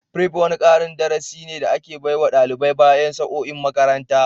Prep wani karin darasi ne da ake baiwa dalibai bayan sa'o'in makaranta.